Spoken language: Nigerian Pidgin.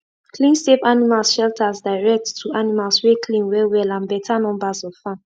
clean safe animal shelters direct to animals wey clean well well and better numbers of farm